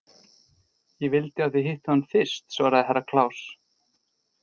Ég vildi að þið hittuð hann fyrst, svaraði Herra Kláus.